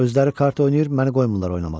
Özləri kart oynayır, məni qoymurlar oynamağa.